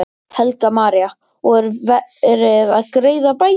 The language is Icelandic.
Helga María: Og er verið að greiða bætur?